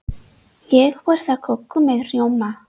Ég borða köku með rjóma.